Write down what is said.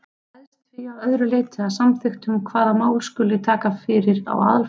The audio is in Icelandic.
Það ræðst því að öðru leyti af samþykktunum hvaða mál skuli taka fyrir á aðalfundi.